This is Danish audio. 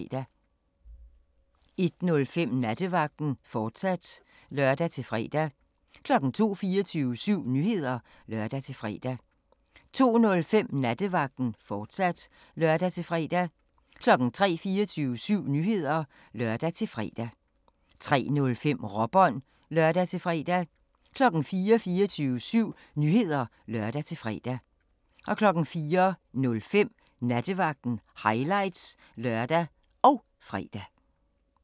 01:05: Nattevagten, fortsat (lør-fre) 02:00: 24syv Nyheder (lør-fre) 02:05: Nattevagten, fortsat (lør-fre) 03:00: 24syv Nyheder (lør-fre) 03:05: Råbånd (lør-fre) 04:00: 24syv Nyheder (lør-fre) 04:05: Nattevagten – highlights (lør og fre)